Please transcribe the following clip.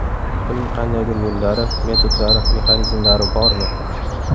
Buning qandaydir yo‘llari, metodlari, mexanizmlari bormi?